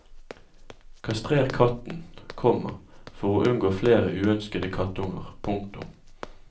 Kastrer katten, komma for å unngå flere uønskede kattunger. punktum